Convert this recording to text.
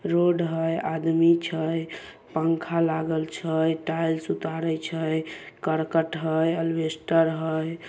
Road है आदमी छे पंखा लागल छे टाइल्स उतारै छे करकट है अल्वेस्टर है ।